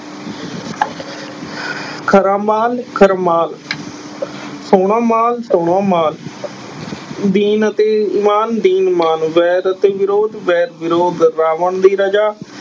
ਖਰਾ ਮਾਲ ਖਰਮਾਲ ਸੋਹਣਾ ਮਾਲ ਸੋਹਣਾ ਮਾਲ ਦੀਨ ਅਤੇ ਇਮਾਨ ਦੀਨ ਮਾਨ, ਵੈਦ ਅਤੇ ਵਿਰੋਧ ਵੈਰ ਵਿਰੋਧ, ਰਾਵਣ ਦੀ ਰਜਾ